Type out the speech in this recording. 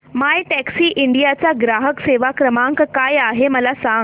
My Taxi India चा ग्राहक सेवा क्रमांक काय आहे मला सांग